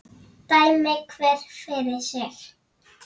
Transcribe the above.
Dæmi hver fyrir sig!